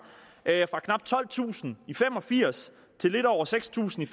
fra knap tolvtusind i nitten fem og firs til lidt over seks tusind